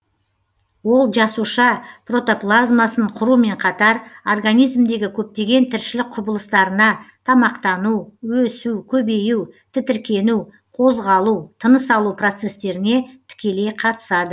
ол жасуша протоплазмасын құрумен қатар организмдегі көптеген тіршілік құбылыстарына тамақтану өсу көбею тітіркену қозғалу тыныс алу процестеріне тікелей қатысады